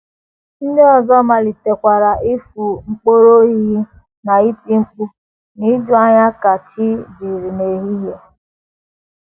Ndị ọzọ malitekwara ịfụ mkpọrọhịhị na iti mkpu n’ijuanya ka chi jiri n’ehihie.